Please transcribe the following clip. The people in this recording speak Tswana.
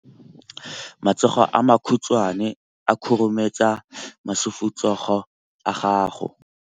Matsogo a makhutshwane a khurumetsa masufutsogo a gago.